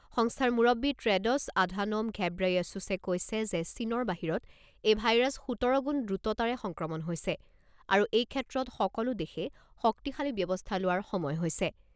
সংস্থাৰ মুৰববী Tedros Adhanom Ghebreyesus কৈছে যে চীনৰ বাহিৰত এই ভাইৰাছ সোতৰ গুণ দ্ৰুততাৰে সংক্ৰমণ হৈছে আৰু এইক্ষেত্ৰত সকলো দেশে শক্তিশালী ব্যৱস্থা লোৱাৰ সময় হৈছে।